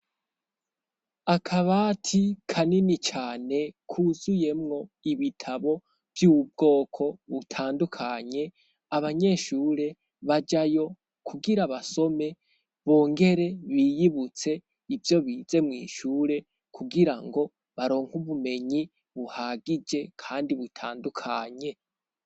Akabati kanini cane kuzuyemwo ibitabo vy'ubwoko butandukanye, abanyeshure bajayo kugira basome bongere biyibutse ivyo bize mw'ishure kugirango baronke ubumenyi buhagije kandi butandukanye.